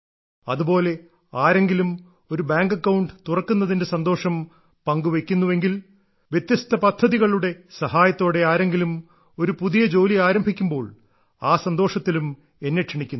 അതുപോലെ ആരെങ്കിലും ഒരു ബാങ്ക് അക്കൌണ്ട് തുറക്കുന്നതിന്റെ സന്തോഷം പങ്കുവയ്ക്കുന്നുവെങ്കിൽ വ്യത്യസ്ത പദ്ധതികളുടെ സഹായത്തോടെ ആരെങ്കിലും ഒരു പുതിയ ജോലി ആരംഭിക്കുമ്പോൾ ആ സന്തോഷത്തിലും എന്നെ ക്ഷണിക്കുന്നു